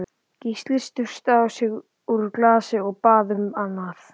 Gísli sturtaði í sig úr glasinu, og bað um annað.